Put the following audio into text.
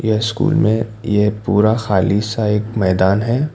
School में ये पूरा खाली सा एक मैदान है।